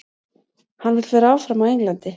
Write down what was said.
Hann vill vera áfram á Englandi.